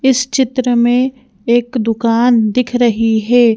इस चित्र में एक दुकान दिख रही है।